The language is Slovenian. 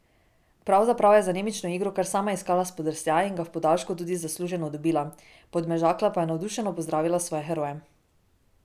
Pravzaprav je z anemično igro kar sama iskala spodrsljaj in ga v podaljšku tudi zasluženo dobila, Podmežakla pa je navdušeno pozdravila svoje heroje.